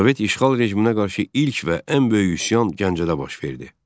Sovet işğal rejiminə qarşı ilk və ən böyük üsyan Gəncədə baş verdi.